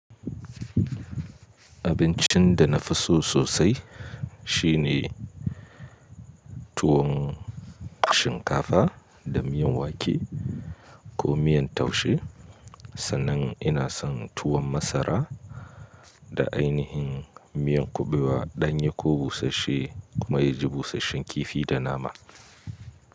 Abincin da nafi so sosai shine tuwon shinkafa da miyan wake ko miyan taushe sannan ina son tuwon masara da ainihin miyan kuɓewa ɗanye ko busasshe kuma ya ji busasshen kifi da nama.